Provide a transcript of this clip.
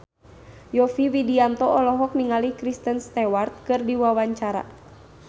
Yovie Widianto olohok ningali Kristen Stewart keur diwawancara